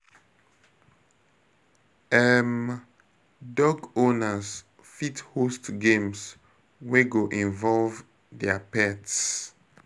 um Dog owners fit host games wey go involve their pets